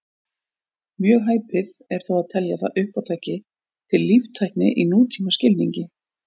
Mjög hæpið er þó að telja það uppátæki til líftækni í nútímaskilningi.